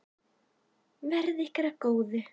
Verði þér að góðu.